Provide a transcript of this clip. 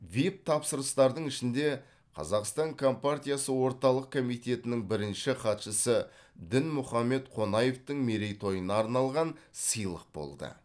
вип тапсырыстардың ішінде қазақстан компартиясы орталық комитетінің бірінші хатшысы дінмұхамед қонаевтың мерейтойына арналған сыйлық болды